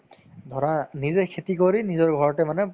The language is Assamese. ধৰা নিজে খেতি কৰি নিজৰ ঘৰতে মানে